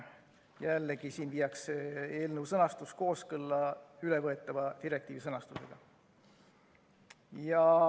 Jällegi viiakse eelnõu sõnastus kooskõlla ülevõetava direktiivi sõnastusega.